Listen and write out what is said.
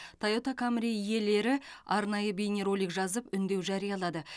тойота камри иелері арнайы бейнеролик жазып үндеу жариялады